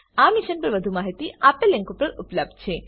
આ મિશન પર વધુ માહિતી નીચે દર્શાવેલ લીંક પર ઉપલબ્ધ છે